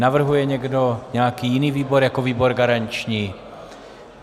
Navrhuje někdo nějaký jiný výbor jako výbor garanční?